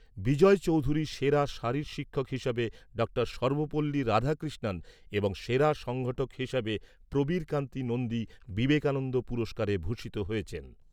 বিজয় চৌধুরী সেরা শারীর শিক্ষক হিসাবে ডা সর্বপল্লী রাধাকৃষ্ণন এবং সেরা সংগঠক হিসাবে প্রবীর কান্তি নন্দী বিবেকানন্দ পুরস্কারে ভূষিত হয়েছেন।